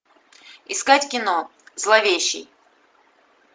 искать кино зловещий